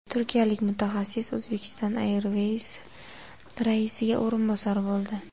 Turkiyalik mutaxassis Uzbekistan Airways raisiga o‘rinbosar bo‘ldi.